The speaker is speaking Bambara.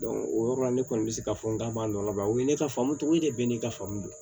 o yɔrɔ la ne kɔni bɛ se ka fɔ n ka baalaban o ye ne ka faamu cogo ye de bɛ ne ka faamu don